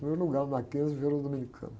Primeiro lugar no Mackenzie, virou dominicano.